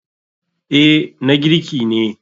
Eh na girki ne.